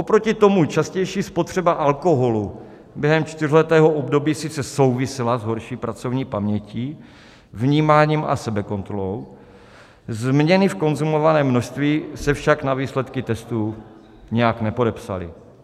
Oproti tomu častější spotřeba alkoholu během čtyřletého období sice souvisela s horší pracovní pamětí, vnímáním a sebekontrolou, změny v konzumovaném množství se však na výsledcích testů nijak nepodepsaly.